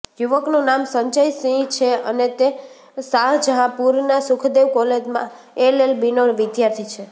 યુવકનું નામ સંજય સિંહ છે અને તે શાહજહાંપુરના સુખદેવ કોલેજમાં એલએલબીનો વિદ્યાર્થી છે